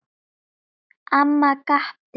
Amma gapti.